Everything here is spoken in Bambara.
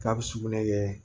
K'a bɛ sugunɛ kɛ